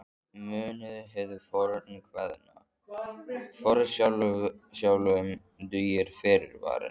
Munið hið fornkveðna: Forsjálum dugir fyrirvarinn.